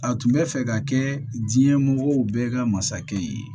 A tun bɛ fɛ ka kɛ diɲɛ mɔgɔw bɛɛ ka masakɛ ye